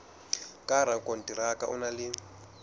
ka rakonteraka o na le